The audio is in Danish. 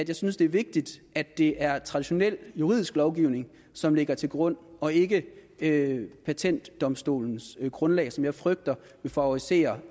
jeg synes det er vigtigt at det er traditionel juridisk lovgivning som ligger til grund og ikke ikke patentdomstolens grundlag som jeg frygter vil favorisere